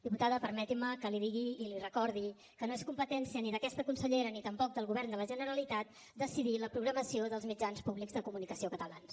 diputada permetin me que li digui i li recordi que no és competència ni d’aquesta consellera ni tampoc del govern de la generalitat decidir la programació dels mitjans públics de comunicació catalans